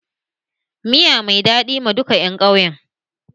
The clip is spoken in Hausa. Miya mai daɗi ma duka ƴan ƙauyen.